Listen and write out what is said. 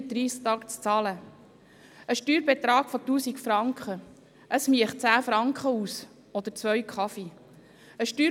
Auf einem Steuerbetrag von 1000 Franken würde der Abzug 10 Franken betragen, was zwei Kaffees entspricht.